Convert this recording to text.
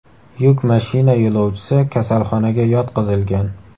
Yuk mashina yo‘lovchisi kasalxonaga yotqizilgan.